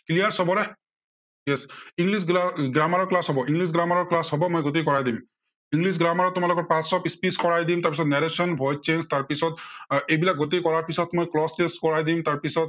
clear সৱৰে ঠিক আছে, english grammmer ৰ class হব, english grammder ৰ class হব। মই যদি কৰাই দিম। english grammmer ৰ তোমালোকৰ parts of speech কৰাই দিম, তাৰপিছত narration, voice change তাৰ পিছত এইবিলাক গোটেই কৰাৰ পিছত মই voice change কৰাই দিম।